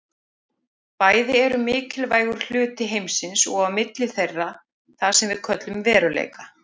Bæði eru mikilvægur hluti heimsins og á milli þeirra er það sem við köllum veruleika.